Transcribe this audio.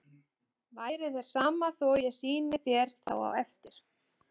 Væri þér sama þó að ég sýndi þér þá á eftir?